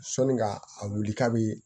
Sɔnni ka a wuli k'a bi